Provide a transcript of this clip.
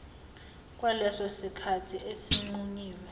kwaleso sikhathi esinqunyiwe